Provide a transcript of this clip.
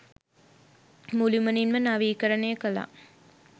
මුළුමනින්ම නවීකරණය කළා.